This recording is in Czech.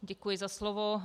Děkuji za slovo.